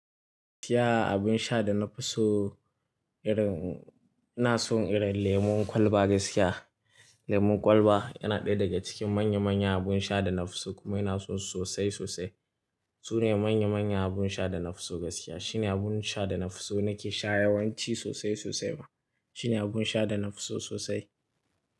Gaskiya abin sha da na fi so irin, ina son irin lemon kwalba gaskiya. Lemon kwalba yana ɗaya daga cikin manya-manya abun sha da na fi so kuma ina so sosai sosai. Su ne manya-manya abun sha da na fi so gaskiya. Shi ne abun sha da na fi so, nake sha yawanci sosai sosai ma. Shi ne abun sha da na fi so sosai.